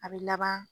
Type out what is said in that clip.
A bɛ laban